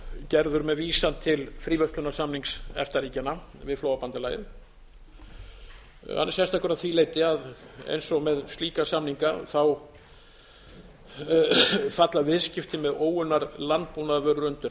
gerður með vísan til fríverslunarsamnings efta ríkjanna við flóabandalagið hann er sérstakur að því leyti að eins og með slíka samninga falla viðskipti með óunnar landbúnaðarvörur undir